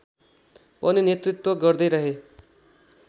पनि नेतृत्व गर्दैरहे